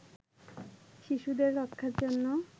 শিশুদের রক্ষার জন্য